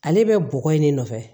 Ale bɛ bɔgɔ in de nɔfɛ